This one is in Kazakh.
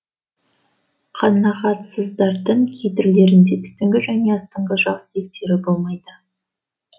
қанағатсыздардың кей түрлерінде үстіңгі және астыңғы жақ сүйектері болмайды